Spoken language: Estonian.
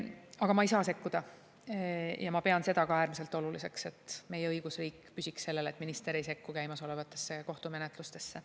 Aga ma ei saa sekkuda, ja ma pean seda äärmiselt oluliseks, et meie õigusriik püsiks sellel, et minister ei sekku käimasolevatesse kohtumenetlustesse.